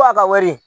Fo a ka wari